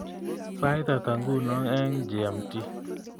Sait ata nguno eng g.m.t